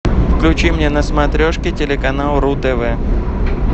включи мне на смотрешке телеканал ру тв